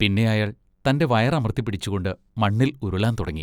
പിന്നെ അയാൾ തൻ്റെ വയറമർത്തിപ്പിടിച്ചുകൊണ്ട് മണ്ണിൽ ഉരുളാൻ തുടങ്ങി.